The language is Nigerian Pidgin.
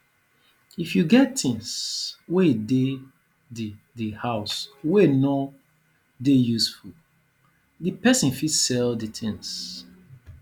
if you get things wey de the the house wey no dey useful di person fit sell di things